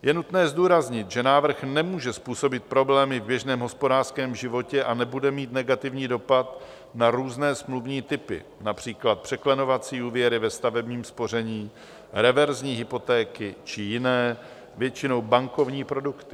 Je nutné zdůraznit, že návrh nemůže způsobit problémy v běžném hospodářském životě a nebude mít negativní dopad na různé smluvní typy, například překlenovací úvěry ve stavebním spoření, reverzní hypotéky či jiné, většinou bankovní produkty.